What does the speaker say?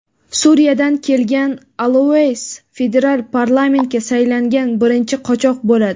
Suriyadan kelgan Alaus federal parlamentga saylangan birinchi qochoq bo‘ladi.